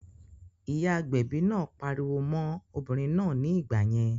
Ìyá agbẹ̀bi náà pariwo mọ́n obìnrin náà ní ìgbà yẹn